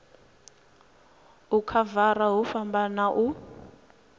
u khavara hu fhambana u